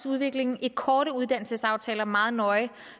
udviklingen i korte uddannelsesaftaler meget nøje